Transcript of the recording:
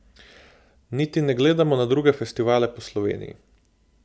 Niti ne gledamo na druge festivale po Sloveniji.